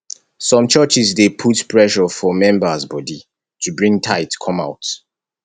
some churches dey put pressure for members body to bring tithe come out